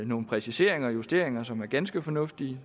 nogle præciseringer og justeringer som er ganske fornuftige